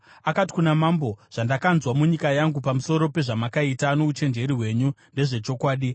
Akati kuna Mambo, “Zvandakanzwa munyika yangu pamusoro pezvamakaita nouchenjeri hwenyu ndezvechokwadi.